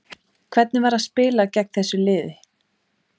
Hvernig var að spila gegn þessu liði?